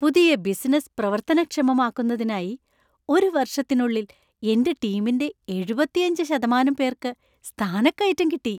പുതിയ ബിസിനസ്സ് പ്രവർത്തനക്ഷമമാക്കുന്നതിനായി ഒരു വർഷത്തിനുള്ളിൽ എന്‍റെ ടീമിന്‍റെ എഴുപത്തിയഞ്ച് ശതമാനം പേർക്ക് സ്ഥാനക്കയറ്റം കിട്ടി.